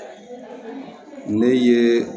Ne ye